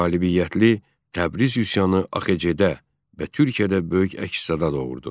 Qalibiyyətli Təbriz üsyanı AXC-də və Türkiyədə böyük əks-səda doğurdu.